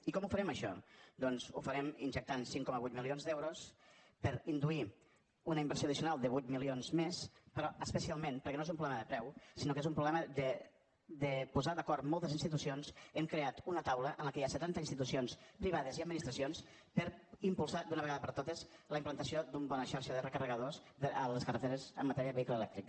i com ho farem això doncs ho farem injectant cinc coma vuit milions d’euros per induir una inversió addicional de vuit milions més però especialment perquè no és un problema de preu sinó que és un problema de posar d’acord moltes institucions hem creat una taula en què hi ha setanta institucions privades i administracions per impulsar d’una vegada per totes la implantació d’una bona xarxa de recarregadors a les carreteres en matèria de vehicle elèctric